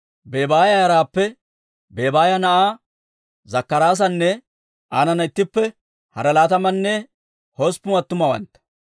Bebaaya yaraappe Bebaaya na'aa Zakkaraasanne aanana ittippe hara laatamanne hosppun attumawantta,